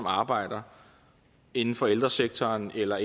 arbejder inden for ældresektoren eller